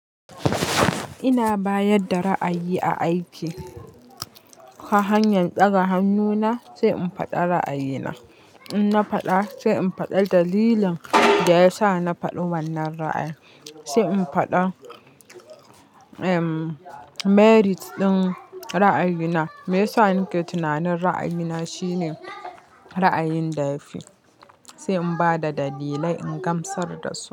Ina bayar da ra'ayi a aiki ta hanyar tsara hannuna, sai in faɗa ra'ayina. In na faɗa, sai in faɗa dalilin da ya sa na faɗi wannan ra'ayi, sai in faɗa emm merit ɗin ra'ayina. Me yasa nake tunanin ra'ayina shine ra'ayin da ya fi, sai in ba da dalilai in gamsar da su.